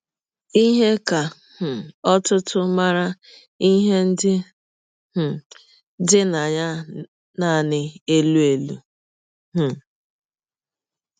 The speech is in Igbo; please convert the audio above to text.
Ihe ka um ọtụtụ maara ihe ndị um dị na ya nanị elụ elụ. um